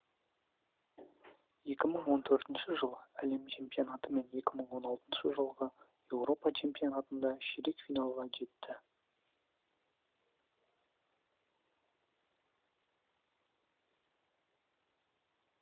екі мың он төртінші жылғы әлем чемпионаты мен екі мың он алтыншы жылғы еуропа чемпионатында ширек финалға жетті